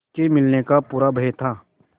उसके मिलने का पूरा भय था